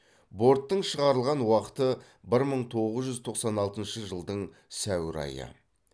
борттың шығарылған уақыты бір мың тоғыз жүз тоқсан алтыншы жылдың сәуір айы